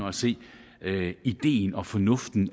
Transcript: at se ideen og fornuften i